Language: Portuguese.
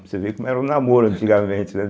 Você vê como era o namoro antigamente, né?